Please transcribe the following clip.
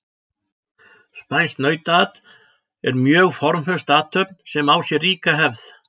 spænskt nautaat er mjög formföst athöfn sem á sér ríka hefð